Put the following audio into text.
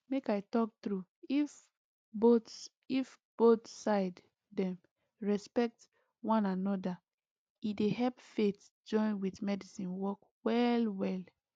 make i talk true if both if both side dem respect one anoda e dey help faith join with medicine work well well